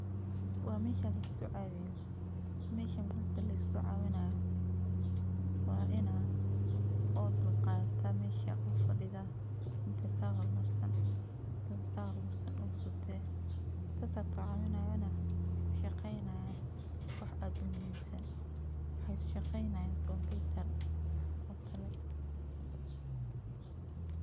Waa meesha laisku cawiyo marka laisku cawinaayo waa inaad dulqadato oo aad fadido dadka waa shaqeyni.